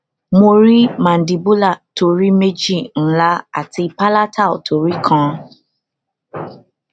mo ni cs] mandibular tori meji nla ati palatal tori kan